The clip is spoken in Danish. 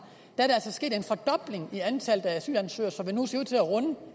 er af antallet af asylansøgere så det nu